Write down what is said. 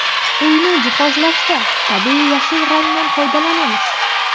Uyni jihozlashda tabiiy yashil rangdan foydalanamiz.